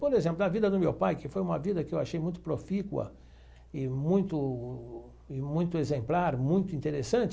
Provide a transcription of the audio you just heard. Por exemplo, a vida do meu pai, que foi uma vida que eu achei muito profícua e muito e muito exemplar, muito interessante.